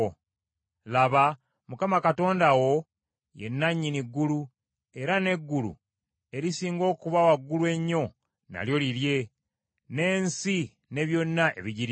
Laba, Mukama Katonda wo ye nannyini ggulu, era n’eggulu erisinga okuba waggulu ennyo nalyo lirye, n’ensi ne byonna ebigirimu.